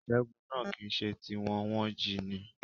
Ìṣẹ́gun náà kìíse ti wọn, wọ́n jíi ni